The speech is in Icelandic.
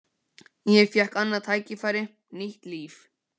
Ég fékk annað tækifæri, nýtt líf.